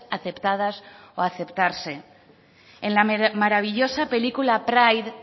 aceptadas o aceptarse en la maravillosa película pride